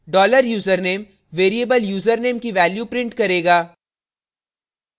dollar username variable username की value print करेगा